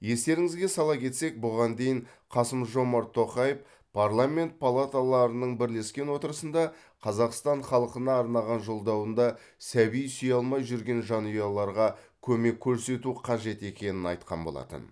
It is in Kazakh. естеріңізге сала кетсек бұған дейін қасым жомарт тоқаев парламент палаталарының бірлескен отырысында қазақстан халқына арнаған жолдауында сәби сүйе алмай жүрген жанұяларға көмек көрсету қажет екенін айтқан болатын